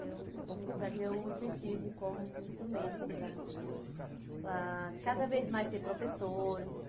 Eu u usaria o incentivo como um instrumento para para cada vez mais ter professores.